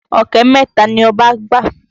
Ọ̀kẹ́ mẹ́ta ni ọba gbà.